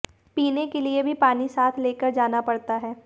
पीने के लिए भी पानी साथ में लेकर जाना पड़ता है